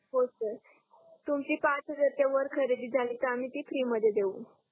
हो सर तुमची पाच हजारच्या वर खरेदी झाली तर आम्ही ती फ्री मध्ये देऊ